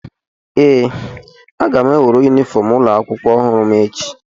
ee, aga m enweru yunifọm ụlọ akwụkwọ ọhụrụ m echi